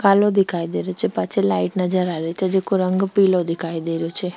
कालो दिखाई दे रहियो छे पाछे लाइट नजर आ रही छे जेको रंग पिलो दिखाई दे रहियो छे।